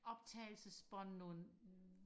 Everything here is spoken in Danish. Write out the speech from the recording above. optagelsesbånd nogle